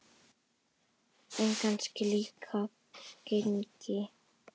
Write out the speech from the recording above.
En kannski líka genin.